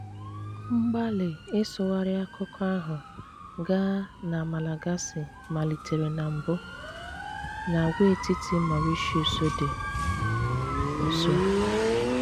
Mgbàlì ị́sụghárí àkùkọ́ ahụ̀ gáà na Malagàsí malìtéré na mbù n'àgwàètìtì Màurítíùs dị́ nso.